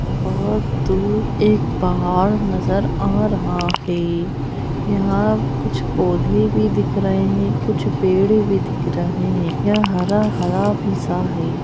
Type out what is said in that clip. बहुत दूर एक पहाड़ नजर आ रहा है। यहाँ कुछ पोधे भी दिख रहें हैं कुछ पेड़ भी दिख रहें हैं। यह हरा-हरा भी सा है।